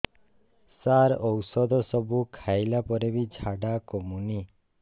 ସାର ଔଷଧ ସବୁ ଖାଇଲା ପରେ ବି ଝାଡା କମୁନି